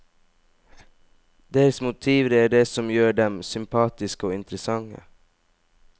Deres motiver er det som gjør dem sympatiske og interessante.